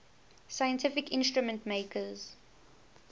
scientific instrument makers